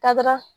Ka taara